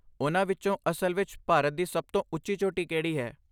ਉਨ੍ਹਾਂ ਵਿੱਚੋਂ ਅਸਲ ਵਿੱਚ ਭਾਰਤ ਦੀ ਸਭ ਤੋਂ ਉੱਚੀ ਚੋਟੀ ਕਿਹੜੀ ਹੈ?